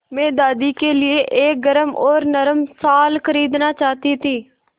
मैं दादी के लिए एक गरम और नरम शाल खरीदना चाहती थी